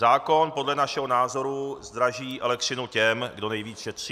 Zákon podle našeho názoru zdraží elektřinu těm, kdo nejvíc šetří.